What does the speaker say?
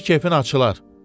Bizdə kefin açılar.